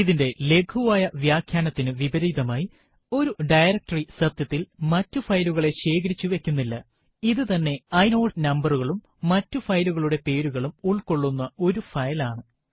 ഇതിന്റെ ലഘുവായ വ്യാഖ്യാനത്തിനു വിപരീതമായി ഒരു ഡയറക്ടറി സത്യത്തിൽ മറ്റു ഫയലുകളെ ശേഖരിച്ചു വയ്ക്കുന്നില്ല ഇത് തന്നെ ഇനോട് നമ്പരകളും മറ്റു ഫയലുകളുടെ പേരുകളും ഉള്ക്കൊള്ളുന്ന ഒരു ഫയൽ ആണ്